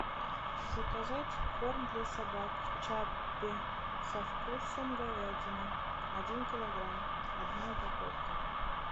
заказать корм для собак чаппи со вкусом говядины один килограмм одна упаковка